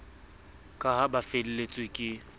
ka ha ba felletswe ke